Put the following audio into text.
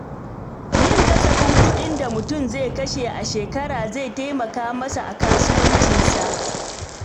Yin kasafin kuɗin da mutum zai kashe a shekara zai taimaka masa a kasuwancinsa.